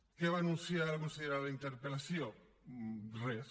què va anunciar la consellera en la interpel·lació res